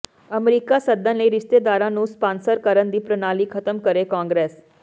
America ਸੱਦਣ ਲਈ ਰਿਸ਼ਤੇਦਾਰਾਂ ਨੂੰ ਸਪਾਂਸਰ ਕਰਨ ਦੀ ਪ੍ਰਣਾਲੀ ਖ਼ਤਮ ਕਰੇ ਕਾਂਗਰਸ